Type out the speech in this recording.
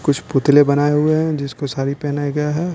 कुछ पुतले बनाए हुए हैं जिसको साड़ी पहनाया गया है।